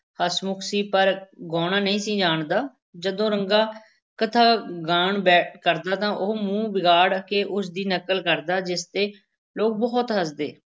ਹਸਮੁਖ ਸੀ, ਪਰ ਗਾਉਣਾ ਨਹੀਂ ਸੀ ਜਾਣਦਾ, ਜਦੋਂ ਰੰਗਾ ਕਥਾ ਗਾਇਣ ਬੈ ਕਰਦਾ ਤਾਂ ਉਹ ਮੂੰਹ ਵਿਗਾੜ ਕੇ ਉਸ ਦੀ ਨਕਲ ਕਰਦਾ ਜਿਸ ਤੇ ਲੋਕ ਬਹੁਤ ਹੱਸਦੇ।